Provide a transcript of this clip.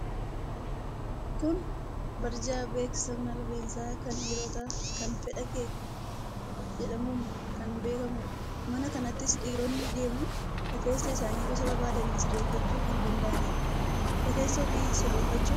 Kun barjaa beeskisaa mana rifeensaa kan dhiirotaa kan ta'e Fedhakee jedhamuun kan beekamu dha. Mana kanattis dhiironni deemuun rifeensa isaanii gosa barbaadaniin sirreeffachuu kan danda'anidha. Rifeensa ofii sirreeffachuun bareedina keenya dabaluu danda'aa?